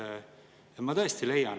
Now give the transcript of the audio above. Lugupeetud Riigikogu liikmed, head kolleegid!